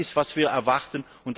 Das ist, was wir erwarten.